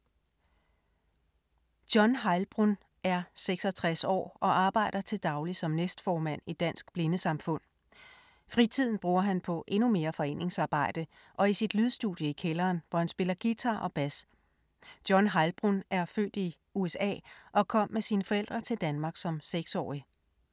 John Heilbrunn er 66 år og arbejder til daglig som næstformand i Dansk Blindesamfund. Fritiden bruger han på endnu mere foreningsarbejde og i sit lydstudie i kælderen, hvor han spiller guitar og bas. John Heilbrunn er født i USA og kom med sine forældre til Danmark som 6-årig.